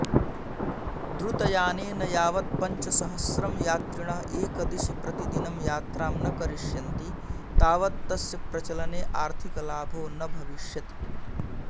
द्रुतयानेन यावत् पञ्चसहस्रं यात्रिणः एकदिशि प्रतिदिनं यात्रां न करिष्यन्ति तावत् तस्य प्रचलने आर्थिकलाभो न भविष्यति